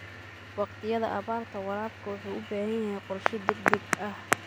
Waqtiyada abaarta, waraabku wuxuu u baahan yahay qorshe degdeg ah.